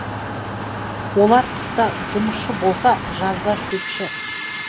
олар қыста жұмысшы болса жазда шөпші